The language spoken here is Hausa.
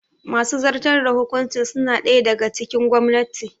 Masu zartar da hukuncin suna ɗaya daga cikin gwamnati